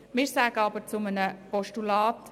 Wir sagen aber Ja zum Postulat.